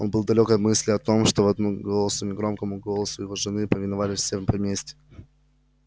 он был далёк от мысли о том что только одному голосу негромкому голосу его жены повиновалось все в поместье